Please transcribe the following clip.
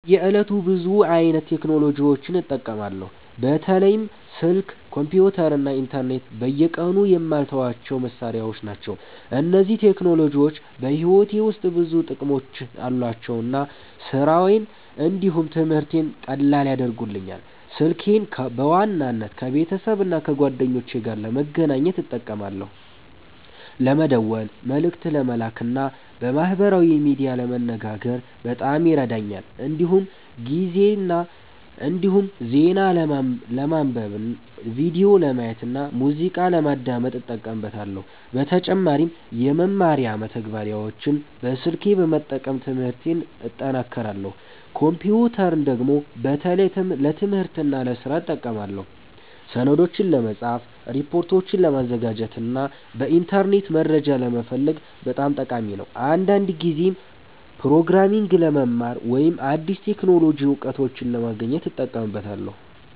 በየዕለቱ ብዙ አይነት ቴክኖሎጂዎችን እጠቀማለሁ። በተለይም ስልክ፣ ኮምፒተር እና ኢንተርኔት በየቀኑ የማልተዋቸው መሳሪያዎች ናቸው። እነዚህ ቴክኖሎጂዎች በሕይወቴ ውስጥ ብዙ ጥቅሞች አሏቸው እና ስራዬን እንዲሁም ትምህርቴን ቀላል ያደርጉልኛል። ስልኬን በዋናነት ከቤተሰብና ከጓደኞቼ ጋር ለመገናኘት እጠቀማለሁ። ለመደወል፣ መልእክት ለመላክ እና በማህበራዊ ሚዲያ ለመነጋገር በጣም ይረዳኛል። እንዲሁም ዜና ለማንበብ፣ ቪዲዮ ለማየት እና ሙዚቃ ለማዳመጥ እጠቀምበታለሁ። በተጨማሪም የመማሪያ መተግበሪያዎችን በስልኬ በመጠቀም ትምህርቴን እጠናክራለሁ። ኮምፒተርን ደግሞ በተለይ ለትምህርትና ለስራ እጠቀማለሁ። ሰነዶችን ለመጻፍ፣ ሪፖርቶችን ለማዘጋጀት እና በኢንተርኔት መረጃ ለመፈለግ በጣም ጠቃሚ ነው። አንዳንድ ጊዜም ፕሮግራሚንግ ለመማር ወይም አዲስ የቴክኖሎጂ እውቀቶችን ለማግኘት እጠቀምበታለሁ።